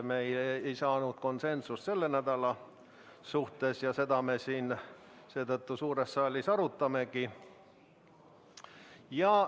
Me ei saanud juhatuses konsensust selle nädala küsimuses ja seetõttu me seda siin suures saalis arutamegi.